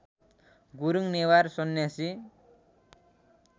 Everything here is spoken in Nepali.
गुरूङ नेवार सन्यासी